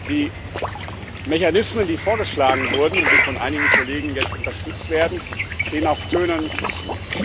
Die Mechanismen, die vorgeschlagen wurden und die von einigen Kollegen jetzt unterstützt werden, stehen auf tönernen Füßen.